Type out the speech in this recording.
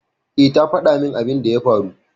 Eh, ta fada min abin da ya faru